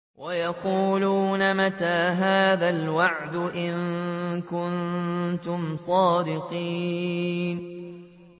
وَيَقُولُونَ مَتَىٰ هَٰذَا الْوَعْدُ إِن كُنتُمْ صَادِقِينَ